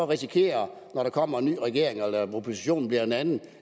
risikere når der kommer en ny regering og oppositionen bliver en anden